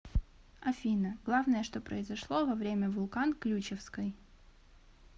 афина главное что произошло во время вулкан ключевской